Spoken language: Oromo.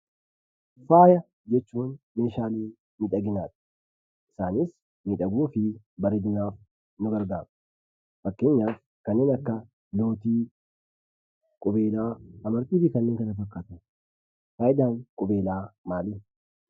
Faaya jechuun meeshaa miidhaginaati. Isaanis miidhaginaa fi bareeduuf nu gargaaru. Fakkeenyaaf kanneen akka lootii, qubeelaa, amartii fi kanneen kana fakkaatan. Faayidaan qubeelaa maali?